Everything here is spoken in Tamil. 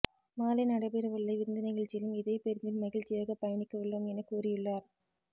மாலை நடைபெறவுள்ள விருந்து நிகழ்ச்சியிலும் இதே பேருந்தில் மகிழ்ச்சியாக பயணிக்கவுள்ளோம் என கூறியுள்ளார்